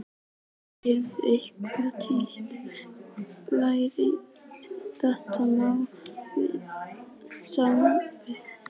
Hefurðu einhvern tíma rætt þetta mál við Sveinbjörn?